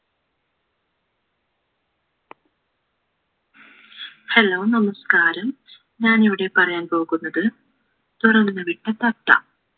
hello നമസ്‍കാരം ഞാനിവിടെ പറയാൻ പോകുന്നത് തുറന്നു വിട്ട തത്ത